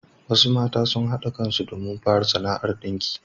Wasu mata sun haɗa kan su domin fara sana'ar ɗinki.